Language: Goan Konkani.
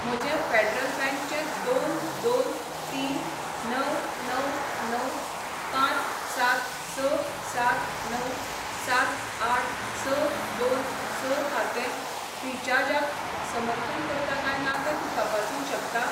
म्हजें फेडरल बँक चें दोन दोन तीन णव णव णव पांच सात स सात णव सात आठ स दोन स खातें फ्रीचार्जाक समर्थन करता काय ना तें तूं तपासूंक शकता?